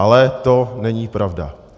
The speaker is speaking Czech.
Ale to není pravda.